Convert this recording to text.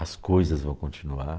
As coisas vão continuar.